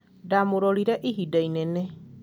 ndamũrorire ihida inene